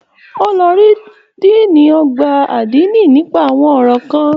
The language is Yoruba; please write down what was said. O lọ rí Diini ọgbà adini nipa àwọn ọrọ kàn.